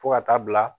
Fo ka taa bila